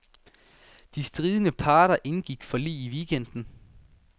De stridende parter indgik forlig i weekenden.